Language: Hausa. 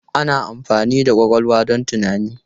Ana amfani da ƙwaƙwalwa don tunani.